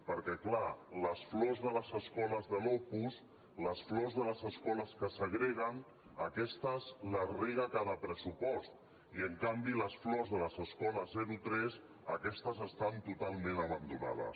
perquè clar les flors de les escoles de l’opus les flors de les escoles que segreguen aquestes les rega en cada pressupost i en canvi les flors de les escoles zero tres aquestes estan totalment abandonades